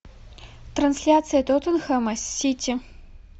трансляция тоттенхэма с сити